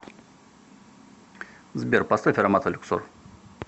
сбер поставь ароматы люксор